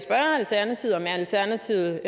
alternativet om alternativet